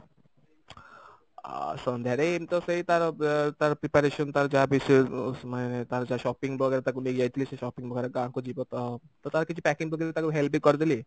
ଅ ସନ୍ଧ୍ୟାରେ ଏମତି ତ ସେଇ ତାର ଏ ତାର preparation ତାର ଯାହା ବିଶେଷ ମାନେ ତାର ଯାହା shopping ବଗେରା ତାକୁ ନେଇକି ଯାଇଥିଲି ସେଇ shopping ବଗେରା ଗାଁ କୁ ଯିବ ତ ତ ତାର କିଛି packing ପତ୍ରରେ ତାର help ବି କରିଦେଲି